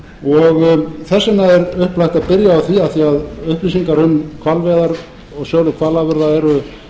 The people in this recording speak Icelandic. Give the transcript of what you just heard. og þess vegna er upplagt að byrja á því af því að upplýsingar um hvalveiðar og sölu hvalafurða eru